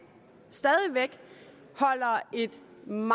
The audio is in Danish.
stadig væk holder et